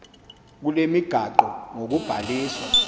kule migaqo ngokubhaliswa